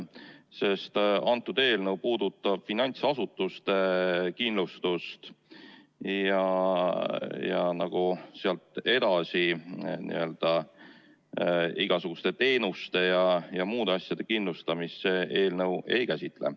See eelnõu puudutab finantsasutuste kindlustust ja sealt edasi igasuguste teenuste ja muude asjade kindlustamist see eelnõu ei käsitle.